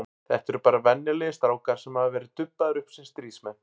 Þetta eru bara venjulegir strákar sem hafa verið dubbaðir upp sem stríðsmenn.